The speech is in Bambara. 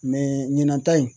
Mɛ ɲinan ta in